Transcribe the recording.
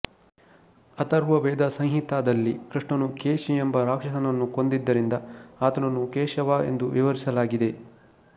ಅಥರ್ವವೇದ ಸಂಹಿತ ದಲ್ಲಿ ಕೃಷ್ಣನು ಕೇಶಿ ಎಂಬ ರಾಕ್ಷಸನನ್ನು ಕೊಂದಿದ್ದರಿಂದ ಆತನನ್ನು ಕೇಶವ ಎಂದು ವಿವರಿಸಲಾಗಿದೆ